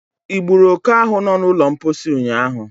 Ị gburu oke ahų no n'ụlọ mposi ụnyaahụ?